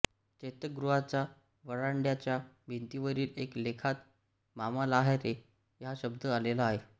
चैत्यगृहाच्या व्हरांडय़ाच्या भिंतीवरील एका लेखात मामालाहारे हा शब्द आलेला आहे